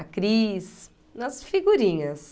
a Cris, nas figurinhas.